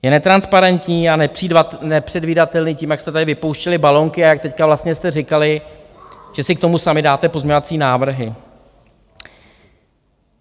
Je netransparentní a nepředvídatelný tím, jak jste tady vypouštěli balónky a jak teď vlastně jste říkali, že si k tomu sami dáte pozměňovací návrhy.